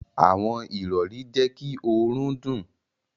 Àwọn irọri jé kí òrùn dùn.